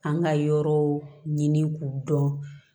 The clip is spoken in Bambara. An ka yɔrɔ ɲini k'u dɔn